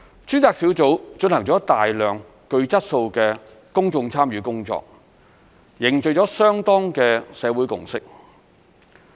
專責小組進行了大量具質素的公眾參與工作，凝聚了相當的社會共識。